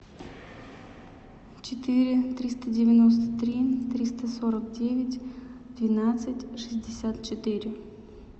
четыре триста девяносто три триста сорок девять двенадцать шестьдесят четыре